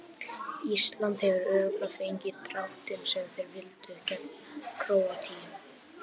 Ísland hefur örugglega fengið dráttinn sem þeir vildu gegn Króatíu.